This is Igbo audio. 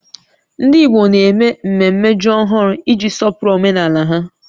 Ndị Igbo na-eme mmemme ji ọhụrụ iji sọpụrụ omenala ha